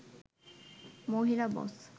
মহিলা বস